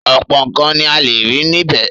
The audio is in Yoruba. ọ̀pọ̀ nǹkan ni a lè rí níbẹ̀.